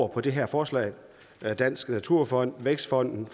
det her forslag den danske naturfond vækstfonden